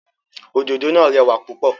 Òdòdó náà rẹwà púpọ̀.